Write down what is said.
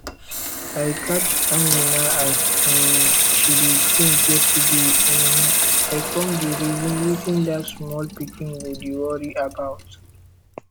i catch amina as um she dey think yesterday um i come dey reason wetin dat small pikin go dey worry about